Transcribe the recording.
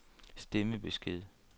stemmebesked